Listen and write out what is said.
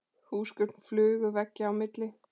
Húsgögn flugu veggja á milli.